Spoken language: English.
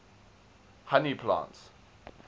honey plants